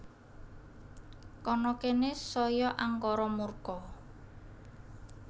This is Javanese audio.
Kana kene saya angkara murka